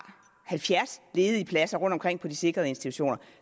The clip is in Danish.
halvfjerds ledige pladser rundtomkring på de sikrede institutioner